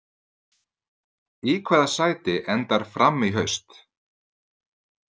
Í hvaða sæti endar Fram í haust?